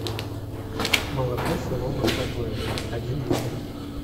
молоко село маслобоево один литр